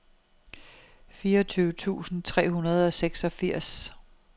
fireogtyve tusind tre hundrede og seksogfirs